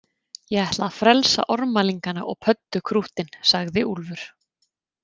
Ég ætla að frelsa ormalingana og pöddukrúttin, sagði Úlfur.